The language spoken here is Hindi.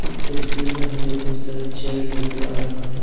इस तस्वीर में हमें बहुत सारा चेयर नजर आ रहा है।